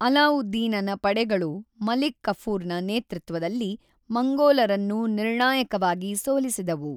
ಅಲಾವುದ್ದೀನನ ಪಡೆಗಳು ಮಲಿಕ್ ಕಫೂರ್‌ನ ನೇತೃತ್ವದಲ್ಲಿ ಮಂಗೋಲರನ್ನು ನಿರ್ಣಾಯಕವಾಗಿ ಸೋಲಿಸಿದವು.